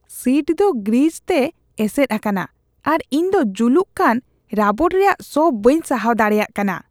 Seat ᱫᱚ grease ᱛᱮ ᱮᱥᱮᱫ ᱟᱠᱟᱱᱟ ᱟᱨ ᱤᱧ ᱫᱚ ᱡᱩᱞᱩᱜ ᱠᱟᱱ ᱨᱟᱵᱚᱴ ᱨᱮᱭᱟᱜ ᱥᱚ ᱵᱟᱹᱧ ᱥᱟᱦᱟᱣ ᱫᱟᱲᱮᱭᱟᱜ ᱠᱟᱱᱟ ᱾